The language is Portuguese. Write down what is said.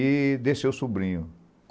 E desceu o sobrinho.